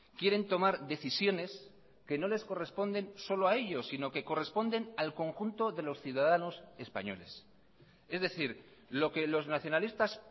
quieren tomar decisiones que no les corresponden solo a ellos sino que corresponden al conjunto de los ciudadanos españoles es decir lo que los nacionalistas